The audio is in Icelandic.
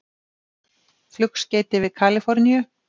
Flugskeyti við Kalíforníu